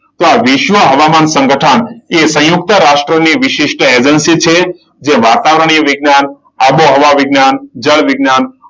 તો આ વિશ્વ હવામાં સંગઠન એ સંયુક્ત રાષ્ટ્રની વિશિષ્ટ એજન્સી છે. જે વાતાવરણીય વિજ્ઞાન, આબોહવા વિજ્ઞાન, જળ વિજ્ઞાન,